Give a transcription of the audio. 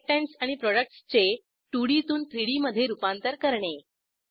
reactants आणि प्रॉडक्टसचे 2डी तून 3डी मधे रूपांतर करणे